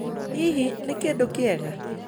Hihi, nĩ kĩndũ kĩega?